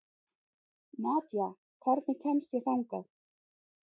Nadja, hvernig kemst ég þangað?